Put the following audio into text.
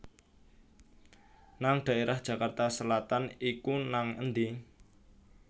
nang daerah Jakarta Selatan iku nang endi?